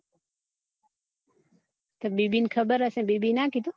baby ને ખબર હશે બેબી એ ના કીધું